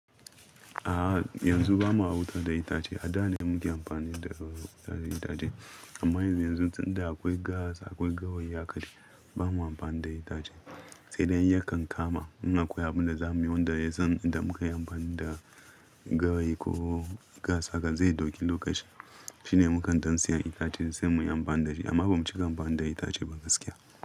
A'a yanzu bamu wuta da itace, a da ne muke amfani da ɗaɗe itace amma yanzu tunda akwai gas akwai gawaye haka bamu amfana da itace sai dai yakan kama muna koyi abu da zamu yi wanda yazan idan muka yi amfani da gawayi ko gas haka zai dauki lokaci shine mukan dan siya itace sai mu yi amfani da shi amma bamu cika amfani da itace ba gaskiya.